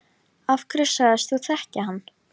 Af hverju sagðist þú þekkja hann?